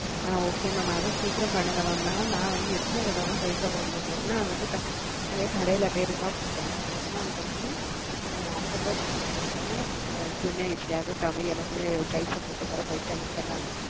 okay அத சீக்கிரம் பண்ணுங்க ந வந்துட்டு எத்தனை தடவாத பைசா போடா முடியும் ஒருளால் வந்து குடுத்து போடுடா ஒரு நாள் அம்பதுரூபா குடுத்து போட்டஎப்படியாவது சீக்கிரம் mam பண்ணுங்க